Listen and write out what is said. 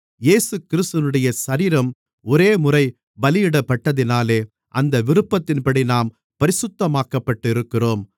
இயேசுகிறிஸ்துவினுடைய சரீரம் ஒரேமுறை பலியிடப்பட்டதினாலே அந்த விருப்பத்தின்படி நாம் பரிசுத்தமாக்கப்பட்டு இருக்கிறோம்